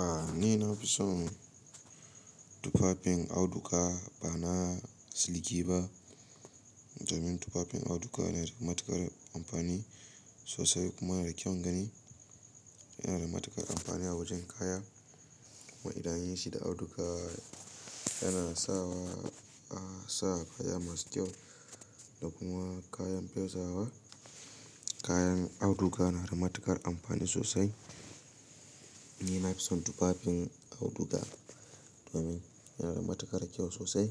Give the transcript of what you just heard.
A ni na fi son tufafin auduga ba na siliki ba, domin tufafin auduga yana da matuƙar amfani sosai kuma yana da kyaun gani. Yana da matuƙar amfani a wajen kaya kuma idan an yi shi da auduga yana sawa, a sa kaya masu kyau da kuma kayan fesawa. Kayan auduga yana da matuƙar amfani sosai. Ni na fi son tufafin auduga domin yana da matuƙar kyau sosai.